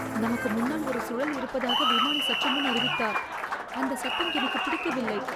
நமக்கு முன்னால் ஒரு சுழல் இருப்பதாக விமானி சற்றுமுன் அறிவித்தார். அந்த சத்தம் எனக்குப் பிடிக்கவில்லை.